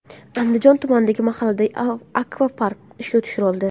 Andijon tumanidagi mahallada akvapark ishga tushirildi.